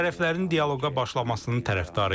Tərəflərin dialoqa başlamasının tərəfdarıyıq.